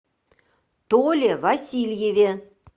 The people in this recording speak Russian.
толе васильеве